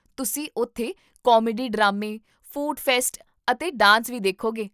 ਤੁਸੀਂ ਉੱਥੇ ਕਾਮੇਡੀ ਡਰਾਮੇ, ਫੂਡ ਫੈਸਟ ਅਤੇ ਡਾਂਸ ਵੀ ਦੇਖੋਗੇ